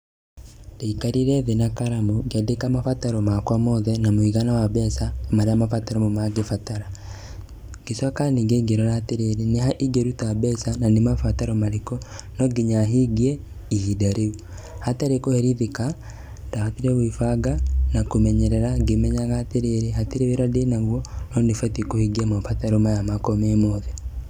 Ndaikarire thĩ na karamu ngĩandĩka mabataro makwa mothe na mũigana wa mbeca marĩa mabataro mangĩbatara. Ngĩcoka ningĩ ngĩrora atĩrĩrĩ, nĩ ha ingĩruta mbeca na nĩ mabataro marĩkũ no nginya hingie ihinda rĩu? Hatarĩ kũherithĩka, ndahotire gwĩbanga na kũmenyerera ngĩmenyaga atĩrĩrĩ, hatirĩ wĩra ndĩnaguo no nĩ batiĩ kũhingia mabataro maya makwa me mothe.